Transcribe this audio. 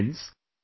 Friends,